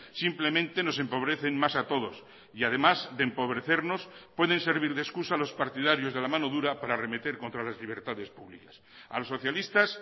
simplemente nos empobrecen más a todos y además de empobrecernos pueden servir de excusa a los partidarios de la mano dura para arremeter contra las libertades públicas a los socialistas